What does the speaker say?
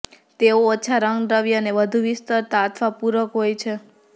તેઓ ઓછા રંગદ્રવ્ય અને વધુ વિસ્તરતા અથવા પૂરક હોય છે